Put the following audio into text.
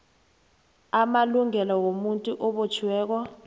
amalungelo womuntu obotjhiweko